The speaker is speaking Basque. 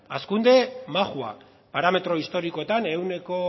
hazkunde majoa parametro historikoetan ehuneko